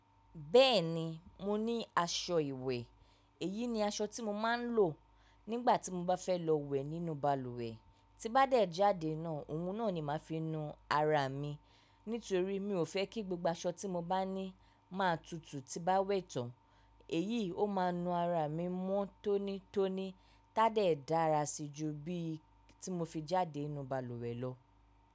Bẹ́ẹ̀ni, mo ní aṣọ ìwẹ̀. Èyí ni aṣọ tí mo máa ń lò nígbà tí mo bá fẹ́ lọ wẹ̀ nínú balùwẹ̀. Tí n bá dẹ̀ jáde náà, òun náà ni màá fi nu ara mi. Nítorí mi ò fẹ́ kí gbogbo aṣọ tí mo bá ní máa tutù tí bá wẹ̀ tán. Èyií ó máa nu ara mi mọ́ tónítóní ti á dẹ̀ dára si ju bí tí mo fi jáde inu balùwẹ̀ lọ.